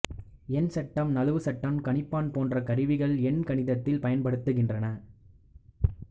எண்சட்டம் நழுவு சட்டம் கணிப்பான் போன்ற கருவிகள் எண் கணிதத்தில் பயன்படுகின்றன